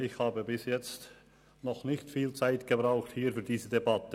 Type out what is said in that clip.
Ich habe bis jetzt in dieser Debatte noch nicht viel Redezeit benötigt.